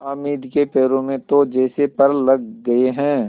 हामिद के पैरों में तो जैसे पर लग गए हैं